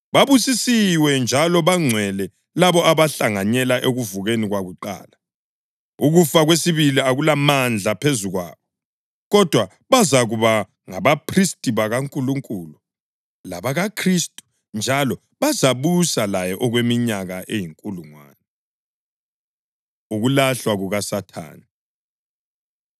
Babusisiwe njalo bangcwele labo abahlanganyela ekuvukeni kwakuqala. Ukufa kwesibili akulamandla phezu kwabo, kodwa bazakuba ngabaphristi bakaNkulunkulu labakaKhristu njalo bazabusa laye okweminyaka eyinkulungwane. Ukulahlwa KukaSathane